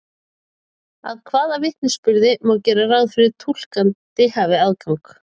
Að hvaða vitnisburði má gera ráð fyrir að túlkandinn hafi aðgang?